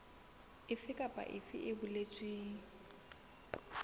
efe kapa efe e boletsweng